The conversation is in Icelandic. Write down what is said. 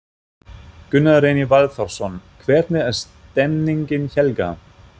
Gunnar Reynir Valþórsson: Hvernig er stemningin Helga?